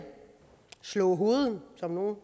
slå hovedet som nogle